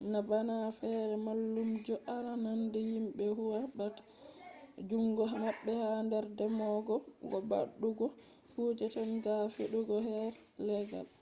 na bana fere mallumjo arandane himbe huwa ta be jungo mabbe ha her dembogo ko waddugo kuje tadden ga ko fedugo her laggal